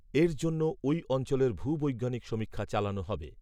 এর জন্য ওই অঞ্চলের ভূবৈজ্ঞানিক সমীক্ষা চালানো হবে